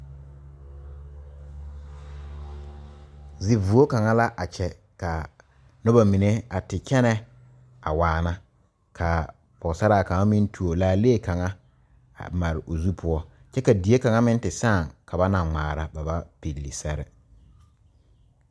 Zivuo kaŋa la a kyɛ ka noba mine a te kyɛnɛ a waana ka pɔgesaraa kaŋa meŋ tuo laalee kaŋa a mare o zu poɔ kyɛ ka die kaŋa meŋ te sãã ka ba naŋ ŋmaara ba ba pilli sɛre.